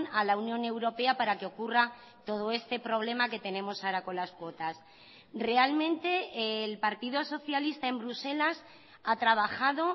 a la unión europea para que ocurra todo este problema que tenemos ahora con las cuotas realmente el partido socialista en bruselas ha trabajado